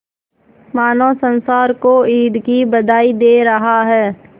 मानो संसार को ईद की बधाई दे रहा है